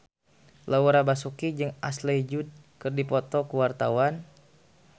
Laura Basuki jeung Ashley Judd keur dipoto ku wartawan